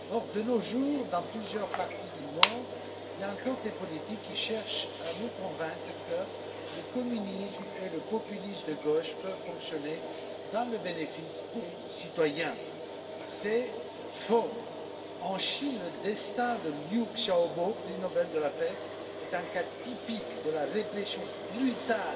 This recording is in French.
Or, de nos jours, dans plusieurs parties du monde, il y a encore des politiques qui cherchent à nous convaincre que le communisme et le populisme de gauche peuvent fonctionner au profit des citoyens. C'est faux! En Chine, le destin de Liu Xiaobo, prix Nobel de la paix, est un cas typique de la répression brutale